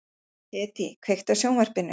Hedí, kveiktu á sjónvarpinu.